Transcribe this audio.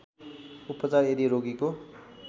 उपचार यदि रोगीको